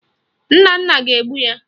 Nnanna ga-egbu ya